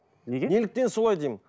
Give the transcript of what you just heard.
неге неліктен солай деймін